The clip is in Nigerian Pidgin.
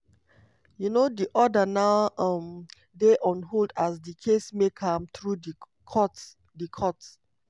um di order now um dey on hold as di case make am through di courts. di courts.